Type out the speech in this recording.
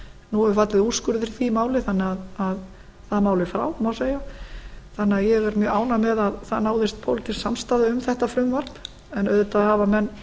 nú hefur fallið úrskurður í því máli þannig að það mál er frá má segja þannig að ég er mjög ánægð með að það náðist pólitísk samstaða um þetta frumvarp en auðvitað hafa